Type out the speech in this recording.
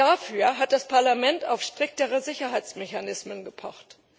Dafür hat das Parlament auf striktere Sicherheitsmechanismen gepocht.